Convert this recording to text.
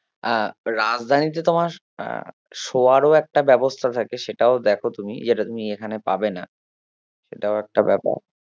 আহ রাজধানীতে তোমার আহ সোয়ারও একটা ব্যবস্থা থাকে সেটাও দেখো তুমি যেটা তুমি এখানে পাবে না এটাও একটা ব্যাপার